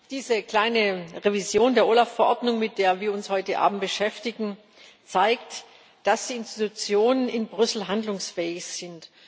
Diese kleine Revision der OLAF Verordnung, mit der wir uns heute Abend beschäftigen, zeigt, dass die Institutionen in Brüssel handlungsfähig sind.